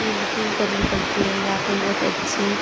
इ बुकिंग करनी पड़ती है यहाँ पे बहुत अच्छे--